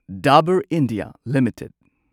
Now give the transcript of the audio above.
Dabur India limited